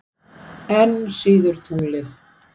Enn síður tunglið.